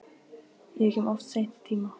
Ég kem of seint í tímann.